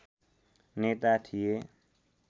नेता थिए